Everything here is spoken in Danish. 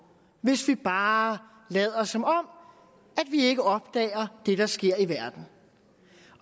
hvis vi bare lader som om vi ikke opdager det der sker i verden